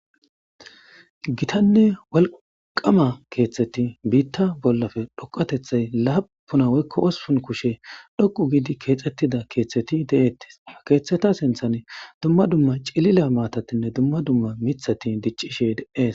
gitanne walqama keeththeti biitta bollafe dhoqatethay laapuna woykko ospun kushe dhoqu gidi keexettida keeththeti de7eettis akeeththeta sinthane dumma dumma cilila maatatinne dumma dumma mithati diccishe dees